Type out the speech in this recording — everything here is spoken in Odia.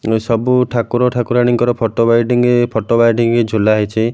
ସବୁ ଠାକୁର ଠାକୁରାଣୀଙ୍କର ଫଟୋ ବାଇଡିଙ୍ଗ ଫଟୋ ବାଇଡିଙ୍ଗ ଝୁଲା ହେଇଚି।